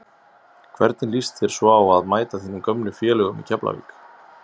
Hvernig lýst þér svo á að mæta þínum gömlu félögum í Keflavík?